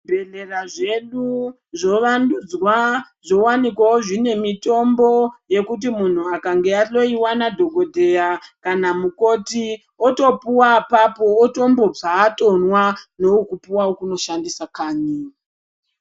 Bhedhlera zvedu zvowandudzwa zvowanikwawo zvine mitombo yekuti kana muntu akange ahloiwa nadhokodheya kana mukoti otopuwa apapo otondobva atomwa ndokupuwa wekunoshandisa kanyi.